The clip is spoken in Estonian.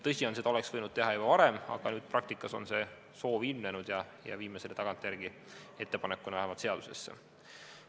Tõsi on, et seda oleks võinud teha juba varem, aga praktikas on see soov ilmnenud ja me viime selle vähemalt tagantjärele ettepanekuna seadusesse.